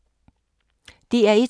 DR1